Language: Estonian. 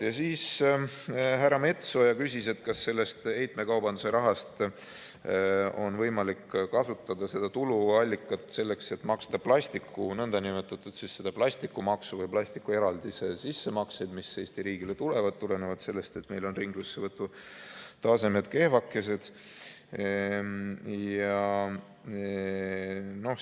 Härra Metsoja küsis, kas seda heitmekaubanduse raha, seda tuluallikat on võimalik kasutada selleks, et maksta nn plastikumaksu või plastikueraldise sissemakseid, mis Eesti riigile tulevad tulenevalt sellest, et meil on ringlussevõtu tasemed kehvakesed.